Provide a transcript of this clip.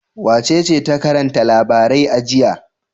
Wacece ta karanta labarai a jiya?